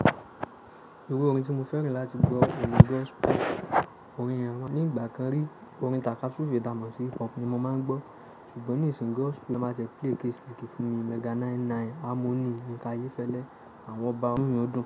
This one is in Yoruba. Iru orin ti mo fẹràn lati gbọ ni Gospel music. Orin yẹn won nigba kan ri. Orin takasufe tamọ si hippop ni mo maa n gbọ ṣugbọn nisinyi Gospel ma jẹ play keese keese fun mi. Mega 99, Harmoniy, Yinka Fẹlẹ, àwon oba amuludun.